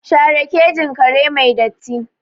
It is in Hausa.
Share kejin kare mai datti!